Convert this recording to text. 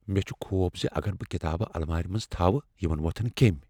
مےٚ چھ خوف زِ اگر بہٕ کتابہٕ المارِ منز تھاوٕ، یِمن وۄتھن کیمۍ۔